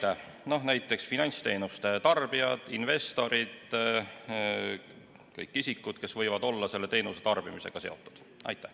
Need on näiteks finantsteenuste tarbijad, investorid, kõik sellised isikud, kes võivad selle teenuse tarbimisega olla seotud.